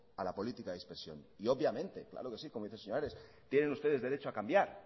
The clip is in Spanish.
a la política de dispersión y obviamente claro que sí como dice el señor ares tienen ustedes derecho a cambiar